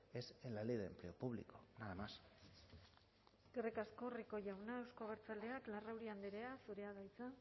es en la ley de empleo público nada más eskerrik asko rico jauna euzko abertzaleak larrauri andrea zurea da hitza